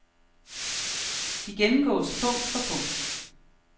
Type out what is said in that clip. De gennemgåes punkt for punkt.